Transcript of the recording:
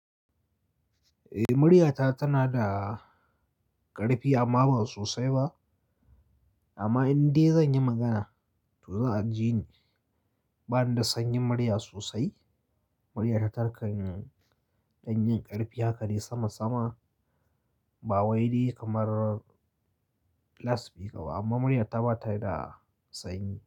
Eh, murya ta tana da ƙarfi amma ba sosai ba. Amma indai zan yi magana to za a ji ni bani da sanyin murya sosai. Murya ta tarkan ɗan yin ƙarfi haka ne sama sama ba wai dai kamar lasfika ba amma murya ta bata da sanyi.